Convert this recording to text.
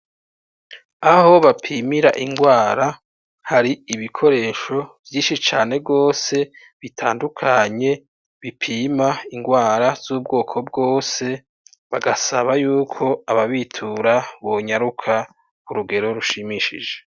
Aho bapimira ingwara hari ibikoresho vyinshi cane gose bitandukanye, bipima ingwara z'ubwoko bwose, bagasaba yuko ababitura bonyaruka ku rugero rushimishije.